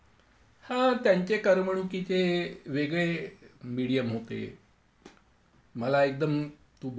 हां, त्यांचे करमणुकीचे वेगळे मेडिअम होते मला एकदम तू बोलली म्हणून आठवलं.